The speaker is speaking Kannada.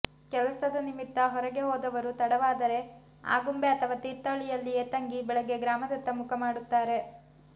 ಕೆಲಸದ ನಿಮಿತ್ತ ಹೊರಗೆ ಹೋದವರು ತಡವಾದರೆ ಆಗುಂಬೆ ಅಥವಾ ತೀರ್ಥಹಳ್ಳಿಯಲ್ಲೇ ತಂಗಿ ಬೆಳಿಗ್ಗೆ ಗ್ರಾಮದತ್ತ ಮುಖ ಮಾಡುತ್ತಾರೆ